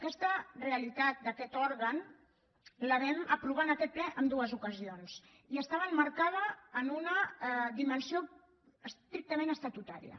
aquesta realitat d’aquest òrgan la vam aprovar en aquest ple en dues ocasions i estava emmarcada en una dimensió estrictament estatutària